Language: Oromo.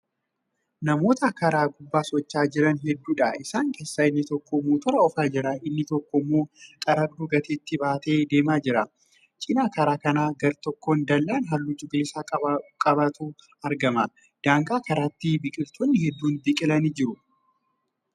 Namoota karaa gubbaa socho'aa Jiran hedduudha. isaan keessaa inni tokko motora oofaa jira. inni tokkommoo xaragduu gateettiitti baatee deemaa jira. cinaa karaa kanaa gartokkoon dallaan halluu cuquliisaa qabutu argama. daangaa karaatti biqiltoonni hedduun biqilanii jiru.